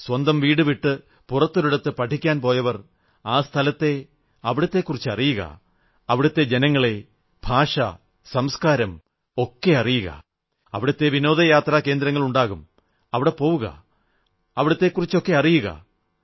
സ്വന്തം വീടു വിട്ട് പുറത്തൊരിടത്ത് പഠിക്കാൻ പോയവർ ആ സ്ഥലത്തെ അവിടത്തെക്കുറിച്ചറിയുക അവിടത്തെ ജനങ്ങളെ ഭാഷ സംസ്കാരം ഒക്കെ അറിയുക അവിടത്തെ വിനോദ സഞ്ചാര കേന്ദ്രങ്ങളുണ്ടാകും അവിടെ പോവുക അവിടത്തെക്കുറിച്ചറിയുക